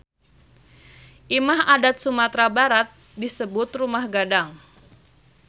Imah adat Sumatra Barat disebut Rumah Gadang.